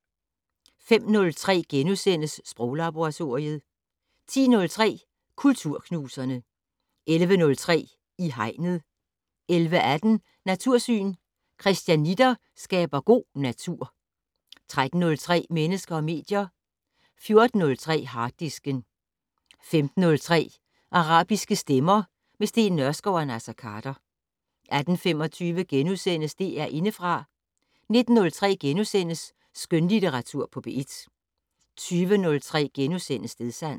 05:03: Sproglaboratoriet * 10:03: Kulturknuserne 11:03: I Hegnet 11:18: Natursyn: Christianitter skaber god natur 13:03: Mennesker og medier 14:03: Harddisken 15:03: Arabiske stemmer - med Steen Nørskov og Naser Khader 18:25: DR Indefra * 19:03: Skønlitteratur på P1 * 20:03: Stedsans *